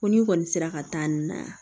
Ko ni kɔni sera ka taa nin na yan